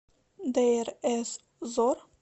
дейр эз зор